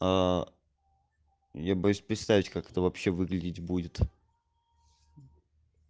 я боюсь представить как это вообще выглядеть будет